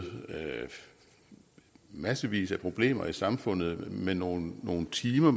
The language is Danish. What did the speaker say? massevis af problemer i samfundet med nogle nogle timer